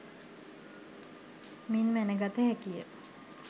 මින් මැනගත හැකිය